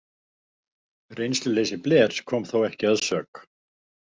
Reynsluleysi Blairs kom þó ekki að sök.